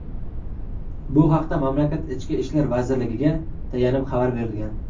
Bu haqda mamlakat Ichki ishlar vazirligiga tayanib xabar berilgan.